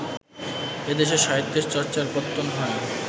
এদেশে সাহিত্যের চর্চার পত্তন হয়